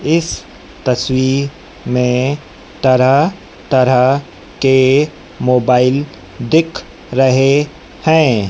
इस तस्वीर में तरह तरह के मोबाइल दिख रहे हैं।